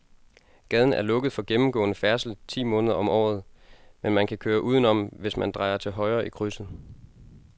Gaden er lukket for gennemgående færdsel ti måneder om året, men man kan køre udenom, hvis man drejer til højre i krydset.